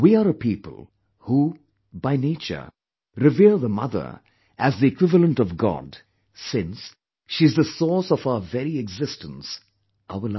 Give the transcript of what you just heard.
We are a people who, by nature, revere the Mother as the equivalent of god since she is the source of our very existence, our life